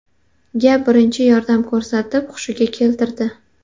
ga birinchi yordam ko‘rsatib, hushiga keltirdi.